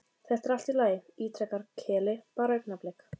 Þetta er allt í lagi, ítrekar Keli, bara augnablik.